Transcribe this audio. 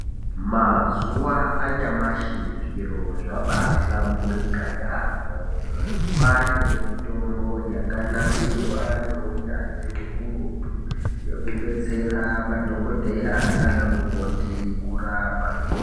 Mazuva anyamashi zviro zvabahlamburuka yambo kwane mitombo yakanasirwa ngeunyanzvi ukurutu yekudetsera madhokodheya nana mukoti Kurapa.